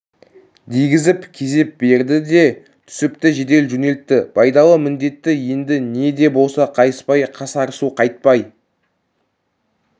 дегізіп кезеп берді де түсіпті жедел жөнелтті байдалы міндеті енді не де болса қайыспай қасарысу қайтпай